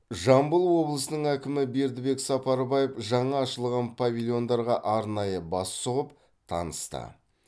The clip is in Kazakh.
жамбыл облысының әкімі бердібек сапарбаев жаңа ашылған павильондарға арнайы бас сұғып танысты